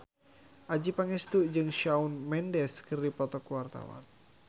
Adjie Pangestu jeung Shawn Mendes keur dipoto ku wartawan